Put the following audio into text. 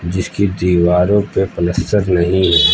जिसकी दीवारों पे पलस्तर नहीं है।